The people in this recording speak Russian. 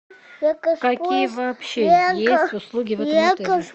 какие вообще есть услуги в этом отеле